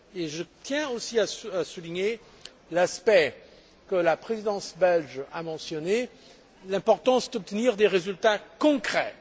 Je tiens aussi à souligner aspect que la Présidence belge a mentionné l'importance d'obtenir des résultats concrets.